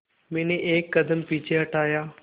मैंने एक कदम पीछे हटाया